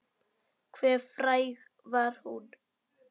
Hve fræg var hún?